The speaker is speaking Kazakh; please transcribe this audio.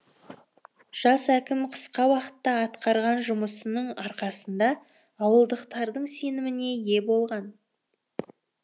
жас әкім қысқа уақытта атқарған жұмысының арқасында ауылдықтардың сеніміне ие болған